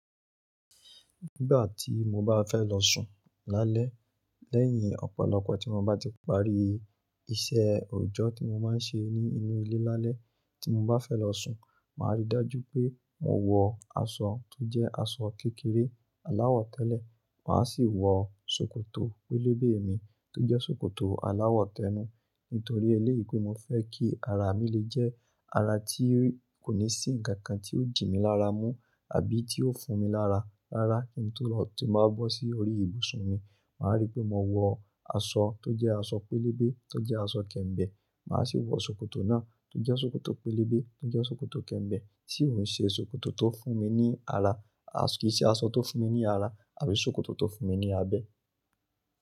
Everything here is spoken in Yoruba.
Nígbà tí mo bá fẹ́ lọ sùn lálẹ́, lẹ́yìn ọ̀pọ̀lọpọ̀ tí mo bá ti parí iṣẹ́ òòjọ́ tí mo máa ń ṣe ní inú ilé lálẹ́, tí mo bá fẹ́ lọ sùn, màá rí dájú pé mo wọ aṣọ tó jẹ́ aṣọ kékeré aláwọ̀ tẹ́lẹ̀, mà á sì wọ sòkòtò pélébé mi tó jẹ́ sòkòtò aláwọ̀ tẹ́nu. Nítorí eléyìí pé mo fẹ́ kí ara mi lè jẹ́ ara tí kò ní sí ǹkan kan tí ó jì mí lára mú àbí tí ó fún mi lára. Rárá, kí n tó lọ, tí mo bá bọ́ sí orí ìbùsùn mi, màá rí pé mo wọ aṣọ tó jẹ́ aṣọ pélébé tó jẹ́ aṣọ kẹ̀ǹbẹ̀, mà á sì wọ sòkòtò náà tó jẹ́ sòkòtò pélébé tó jẹ́ sòkòtò kẹ̀ǹbẹ̀. Tì ò ni ṣe sòkòtò tó fún mi ní ara àṣ-- kì í ṣe aṣọ tó fún mi ní ara àbí sòkòtò tó fún mi ní abẹ́.